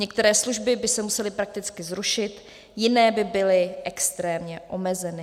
Některé služby by se musely prakticky zrušit, jiné by byly extrémně omezeny.